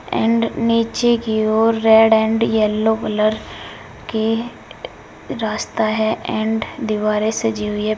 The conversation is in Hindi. एंड नीचे की ओर रेड एंड येलो कलर की रास्ता है एंड दीवारें सजी हुई हैं।